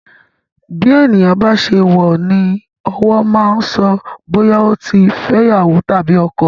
Bí ènìyàn bá ṣe wọ ní ọwọ́ máa ń so bóyá ó ti fẹ́ iyawo tàbí ọkọ.